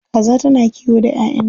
Kaza tana kiwo da 'ya'yanta.